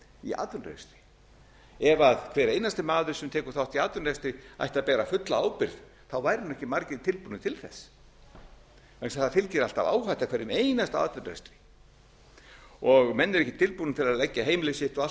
í atvinnurekstri ef hver einasti maður sem tekur þátt í atvinnurekstri ætti að bera fulla ábyrgð væru nú ekki margir tilbúnir til þess vegna þess að það fylgir alltaf áhætta hverjum einasta atvinnurekstri og menn eru ekki tilbúnir til að leggja heimili sitt og allt